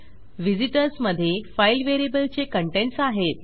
visitors मधे file व्हेरिएबलचे contents आहेत